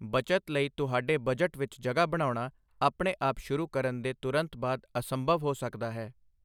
ਬੱਚਤ ਲਈ ਤੁਹਾਡੇ ਬਜਟ ਵਿੱਚ ਜਗ੍ਹਾ ਬਣਾਉਣਾ ਆਪਣੇ ਆਪ ਸ਼ੁਰੂ ਕਰਨ ਦੇ ਤੁਰੰਤ ਬਾਅਦ ਅਸੰਭਵ ਹੋ ਸਕਦਾ ਹੈ।